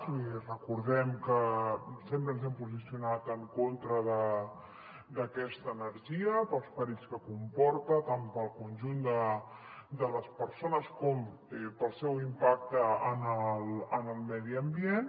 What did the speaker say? vull dir recordem que sempre ens hem posicionat en contra d’aquesta energia pels perills que comporta tant per al conjunt de les persones com pel seu impacte en el medi ambient